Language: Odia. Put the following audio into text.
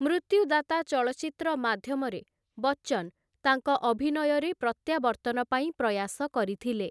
ମୃତ୍ୟୁଦାତା' ଚଳଚ୍ଚିତ୍ର ମାଧ୍ୟମରେ ବଚ୍ଚନ୍‌ ତାଙ୍କ ଅଭିନୟରେ ପ୍ରତ୍ୟାବର୍ତ୍ତନ ପାଇଁ ପ୍ରୟାସ କରିଥିଲେ ।